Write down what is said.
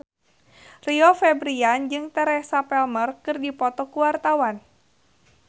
Rio Febrian jeung Teresa Palmer keur dipoto ku wartawan